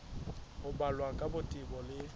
ho balwa ka botebo le